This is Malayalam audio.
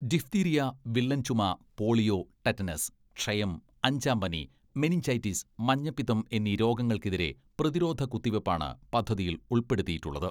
ഡിഫ്തീരിയ, വില്ലൻ ചുമ, പോളിയോ, ടെറ്റനസ്, ക്ഷയം, അഞ്ചാം പനി, മെനിഞ്ചൈറ്റിസ്, മഞ്ഞപ്പിത്തം എന്നീ രോഗങ്ങൾക്കെതിരെ പ്രതിരോധ കുത്തിവെപ്പാണ് പദ്ധതിയിൽ ഉൾപ്പെടുത്തിയിട്ടുള്ളത്.